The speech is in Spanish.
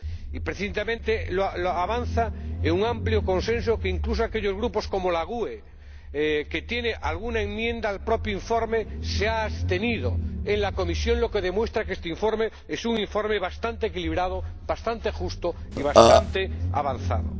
Y precisamente avanza con un amplio consenso, ya que incluso aquellos grupos que, como la GUE NGL, han presentado alguna enmienda al propio informe, se han abstenido en comisión, lo que demuestra que este informe es un informe bastante equilibrado, bastante justo y bastante avanzado.